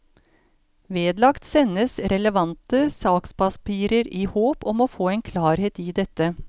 Vedlagt sendes relevante sakspapirer i håp om å få klarhet i dette.